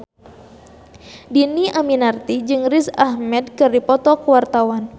Dhini Aminarti jeung Riz Ahmed keur dipoto ku wartawan